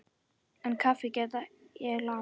En kaffi get ég lagað.